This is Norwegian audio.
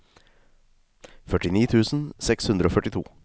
førtini tusen seks hundre og førtito